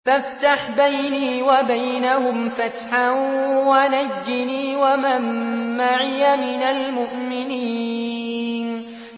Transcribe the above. فَافْتَحْ بَيْنِي وَبَيْنَهُمْ فَتْحًا وَنَجِّنِي وَمَن مَّعِيَ مِنَ الْمُؤْمِنِينَ